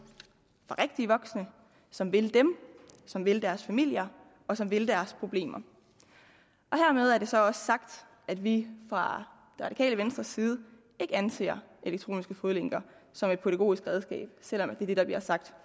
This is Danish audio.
fra rigtige voksne som vil dem som vil deres familier og som vil deres problemer hermed er det så også sagt at vi fra det radikale venstres side ikke anser elektronisk fodlænke som et pædagogisk redskab selv om det er det der bliver sagt